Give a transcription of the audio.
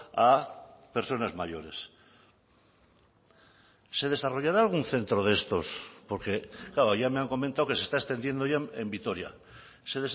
a personas mayores se desarrollará algún centro de estos porque claro ya me han comentado que se está extendiendo ya en vitoria se